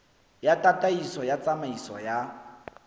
ya tataiso ya tsamaiso ya